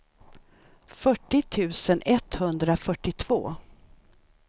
fyrtio tusen etthundrafyrtiotvå